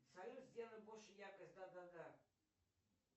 салют сделай больше яркость да да да